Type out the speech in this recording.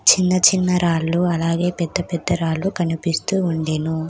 చిన్న చిన్న రాళ్లు అలాగే పెద్ద పెద్ద రాళ్లు కనిపిస్తూ ఉండెను.